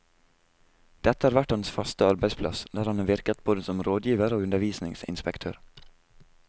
Dette har vært hans faste arbeidsplass, der han har virket både som rådgiver og undervisningsinspektør.